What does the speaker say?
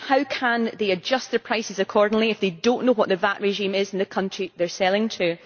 How can they adjust their prices accordingly if they do not know what the VAT regime is in the country they are selling to?